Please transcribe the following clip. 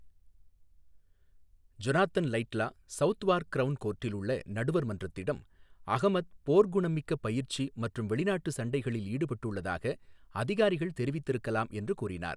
Jonathan Laidlaw, Southwark Crown கோர்ட்டில் உள்ள நடுவர் மன்றத்திடம், அஹ்மத் போர்க்குணமிக்க பயிற்சி மற்றும் வெளிநாட்டு சண்டைகளில் ஈடுபட்டுள்ளதாக அதிகாரிகள் தெரிவித்திருக்கலாம் என்று கூறினார்.